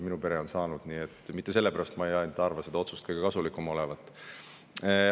Kuigi mitte ainult sellepärast ma ei pea seda otsust kõige kasulikumaks.